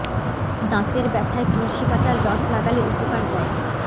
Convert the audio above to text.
দাঁতের ব্যথায় তুলসী পাতার রস লাগালে উপকার দেয়